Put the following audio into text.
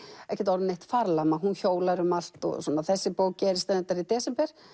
ekkert orðin neitt farlama hún hjólar um allt og svona þessi bók gerist reyndar í desember